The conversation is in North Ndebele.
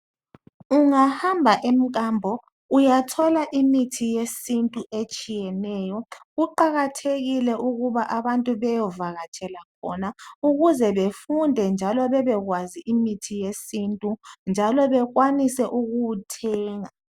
Ungahamba emkambo uyathola imithi yesintu etshiyeneyo. Kuqakathekile ukuba abantu beyevakatshela khona ukuze befunde njalo bebekwazi imithi yesintu bekwanise ukuwuthenga